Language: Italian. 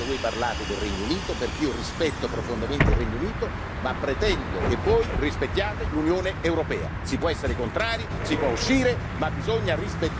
Io rispetto tutti, io non mi sono mai messo a ridere quando voi parlate del Regno Unito perché io rispetto profondamente il Regno Unito e pretendo che voi rispettiate l'Unione europea.